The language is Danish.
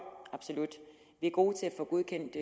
absolut vi er gode til at få godkendt